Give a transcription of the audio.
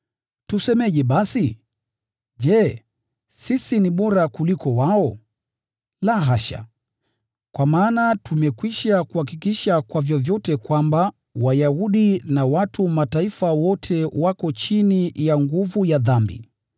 Tusemeje basi? Je, sisi ni bora kuwaliko wao? La hasha! Kwa maana tumekwisha kuhakikisha kwa vyovyote kwamba Wayahudi na watu wa Mataifa wote wako chini ya nguvu ya dhambi.